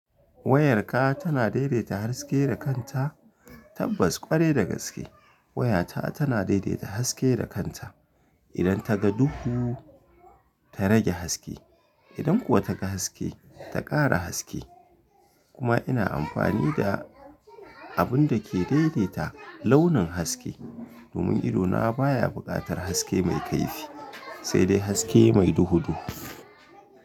Wayarka, tana daidaita haske da kanta, tabbas kwarai da gaske wayata tana daidaita haske da kanta. Idan ta ga duhu ta rage haske, idan kuwa ta ga haske ta ƙara haske. Kuma ina amfani da, abun da ke dedeta launun haske domun idona baya buƙatar haske me kaifi, se de haske mai duhu-duhu.